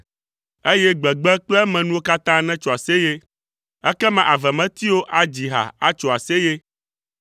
eye gbegbe kple emenuwo katã netso aseye. Ekema avemetiwo adzi ha atso aseye;